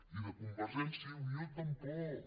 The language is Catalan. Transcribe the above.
i de convergència i unió tampoc